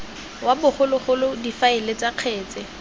wa bogologolo difaele tsa kgetse